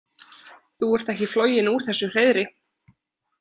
Þú ert ekki floginn úr þessu hreiðri.